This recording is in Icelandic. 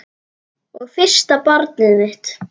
Og fyrsta barnið mitt.